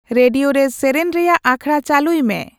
radio ᱨᱮ ᱥᱮᱨᱮᱧ ᱨᱮᱭᱟᱜ ᱟᱠᱷᱲᱟ ᱪᱟᱹᱞᱩᱭ ᱢᱮ